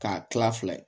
K'a kila fila ye